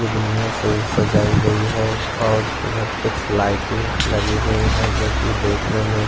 दुगनियों से सजाई गई है और उधर कुछ लाइटें लगी हुई है जो कि देखने में--